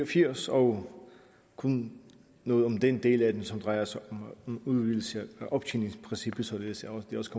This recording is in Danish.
og firs og kun noget om den del af det som drejer sig om udvidelse af optjeningsprincippet således at